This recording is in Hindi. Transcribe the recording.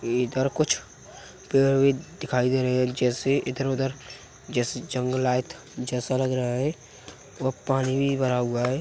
इधर कुछ पेड़ भी दिखाई दे रहे हैं। जैसे इधर उधर जैसे जंगलाइत जैसा लग रहा है व पानी भी भरा हुआ है।